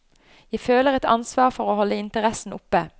Jeg føler et ansvar for å holde interessen oppe.